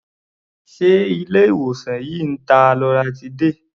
Ṣé ilé-ìwòsàn yìí ń ta loratiday?